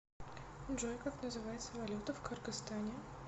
джой как называется валюта в кыргызстане